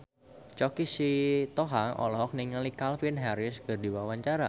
Choky Sitohang olohok ningali Calvin Harris keur diwawancara